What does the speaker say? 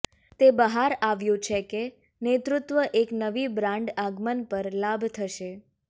તે બહાર આવ્યું છે કે નેતૃત્વ એક નવી બ્રાન્ડ આગમન પર લાભ થશે